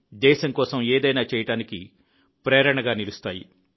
దేశం కోసం ఏదైనా చేయటానికి ప్రేరణగా నిలుస్తాయి